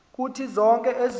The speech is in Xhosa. kuthi zonke ezinye